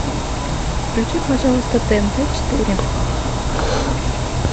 включи пожалуйста тнт четыре